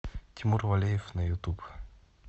тимур валеев на ютуб